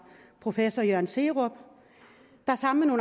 professor jørgen serup der sammen